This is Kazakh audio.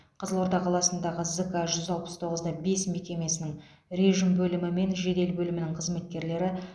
қызылорда қаласындағы зк алпыс тоғыз да бес мекемесінің режім бөлімі мен жедел бөлімінің қызметкерлері